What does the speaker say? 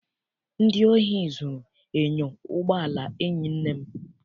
Ndị ohi zụrụ enyo ụgbọala enyi nne m